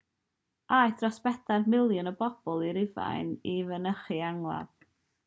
aeth dros bedair miliwn o bobl i rufain i fynychu'r angladd